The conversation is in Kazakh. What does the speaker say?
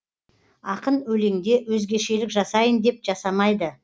ақын өлеңде өзгешелік жасайын деп жасамайды